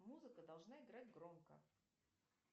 музыка должна играть громко